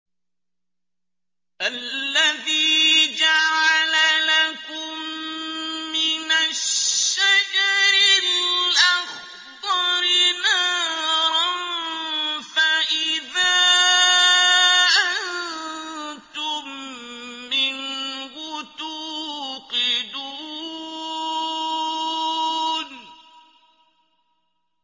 الَّذِي جَعَلَ لَكُم مِّنَ الشَّجَرِ الْأَخْضَرِ نَارًا فَإِذَا أَنتُم مِّنْهُ تُوقِدُونَ